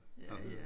Har hørt